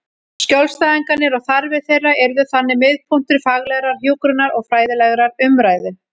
Skjólstæðingarnir og þarfir þeirra yrðu þannig miðpunktur faglegrar hjúkrunar og fræðilegrar umræðu.